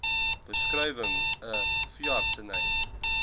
beskrywing n veeartseny